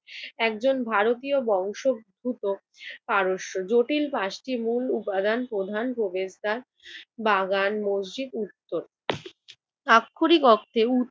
একজন ভারতীয় বংশদ্ভুত পারস্য। জটিল পাঁচটি মূল উপাদান প্রধান প্রবেশদ্বার, বাগান, মসজিদ উত্তর আক্ষরিক অর্থে